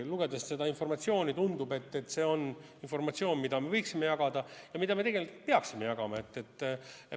Lugedes seda informatsiooni, tundub, et see on informatsioon, mida me võiksime jagada ja mida me tegelikult peaksime jagama.